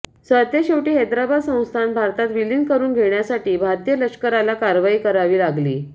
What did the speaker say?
सरतेशेवटी हैदराबाद संस्थान भारतात विलीन करून घेण्यासाठी भारतीय लष्कराला कारवाई करावी लागली